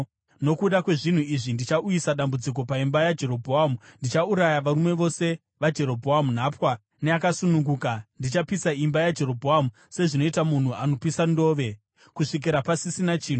“ ‘Nokuda kwezvinhu izvi ndichauyisa dambudziko paimba yaJerobhoamu. Ndichauraya varume vose vaJerobhoamu nhapwa, neakasununguka. Ndichapisa imba yaJerobhoamu sezvinoita munhu anopisa ndove, kusvikira pasisina chinhu.